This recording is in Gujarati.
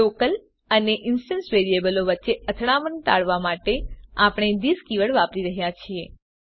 લોકલ અને ઇન્સ્ટંસ વેરીએબલો વચ્ચે અથડામણ ટાળવા માટે આપણે થિસ કીવર્ડ વાપરીએ છીએ